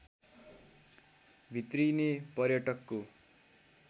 भित्रिने पर्यटकको